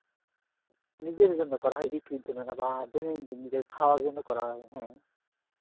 নিজের জন্য করা হয় বিক্রির জন্য না বা দৈনন্দিন নিজের খাওয়ার জন্য করা হয় হ্যাঁ।